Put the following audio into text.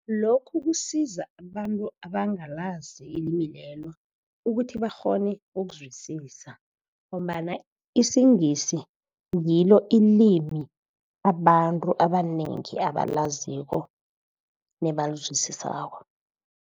Lokhu kusiza abantu abangalazi ilimi lelo, ukuthi bakghone ukuzwisisa, ngombana isiNgisi ngilo ilimi abantu abanengi abalaziko nebalizwisisako.